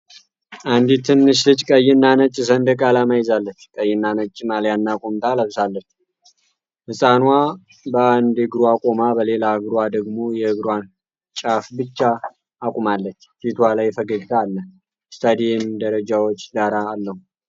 አንዲት ትንሽ ልጅ ቀይና ነጭ ሰንደቅ ዓላማ ይዛለች። ቀይና ነጭ ማልያና ቁምጣ ለብሳለች። ህፃኗ በአንድ እግሯ ቆማ በሌላ እግሯ ደግሞ የእግሯን ጫፍ ብቻ አቁማለች። ፊቷ ላይ ፈገግታ አለ። የስታዲየም ደረጃዎች ዳራ አለው።